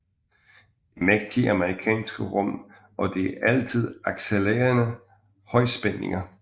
Det mægtige amerikanske rum og de altid accelererende højspændinger